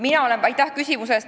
Aitäh küsimuse eest!